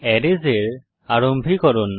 arrays এর আরম্ভীকরণ